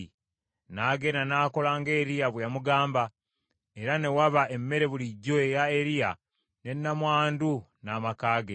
N’agenda n’akola nga Eriya bwe yamugamba, era ne waba emmere bulijjo eya Eriya ne nnamwandu n’amaka ge.